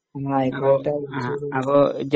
ആയിക്കോട്ടെ